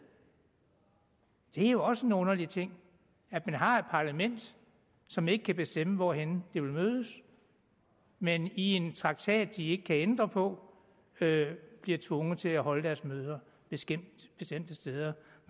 det er også en underlig ting at man har et parlament som ikke kan bestemme hvorhenne det vil mødes men i en traktat de ikke kan ændre på bliver tvunget til at holde deres møder bestemte steder